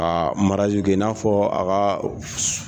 Ka kɛ i n'a fɔ a kaa